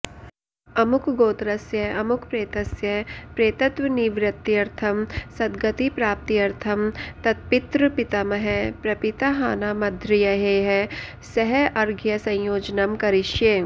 अमुकगोत्रस्य अमुकप्रेतस्य प्रेतत्वनिवृत्यर्थं सद्गति प्राप्त्यर्थं तत्पितृपितामह प्रपिताहानामध्र्यैः सह अर्घ्यसंयोजनं करिष्ये